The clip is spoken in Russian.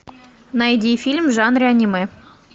найди фильм в жанре аниме